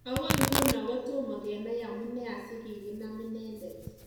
Agoi nguno kotomo kenai amune asi kikinam inendet?